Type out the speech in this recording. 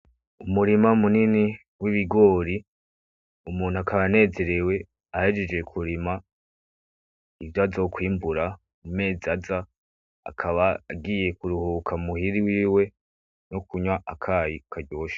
Umurima munini w'ibigori, umuntu akaba akaba anezerewe ahejeje kurima ivyo azokwimbura mu mezi aza, akaba agiye ku ruhuka muhira iwiwe no kunwa akayi karyoshe.